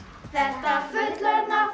þetta fullorðna